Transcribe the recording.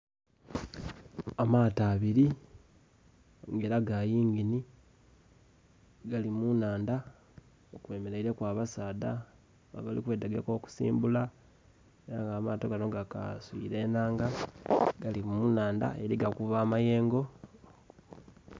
Amaato abili nga ela ga yingini, gali mu nnhandha, kwemeleileku abasaadha abali kwetegeka okusimbula. Aye amaato gano gakaswiile ennanga. Gali mu nnhandha eli gakuba amayengo.